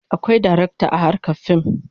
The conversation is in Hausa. Akwai darakta a harkar fim.